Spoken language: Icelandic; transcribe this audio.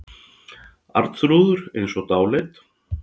Arnþrúður eins og dáleidd.